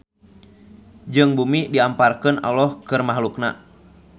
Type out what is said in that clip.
Jeung bumi diamparkeun Alloh keur mahluk-Na.